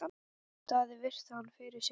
Daði virti hann fyrir sér.